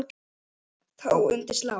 Þá undir slá.